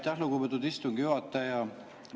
Aitäh, lugupeetud istungi juhataja!